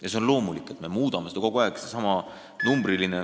Ja see on loomulik, et me muudame seda kogu aeg.